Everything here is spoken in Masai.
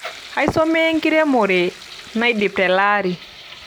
Eisomea enkiremore neidip telaari.